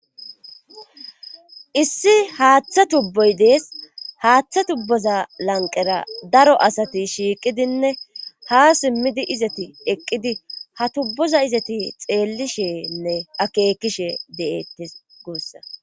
Issi haaththa tubboy dees haaththa tubboza lanqera daro asati shiiqidinne ha simmidi izeti eqqidi ha tubboza izeti xeellishenne akeekishe de'ettees guussakko